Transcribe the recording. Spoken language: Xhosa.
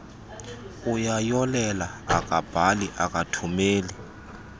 uyayolela akabhali akathumeli